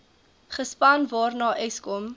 gespan waarna eskom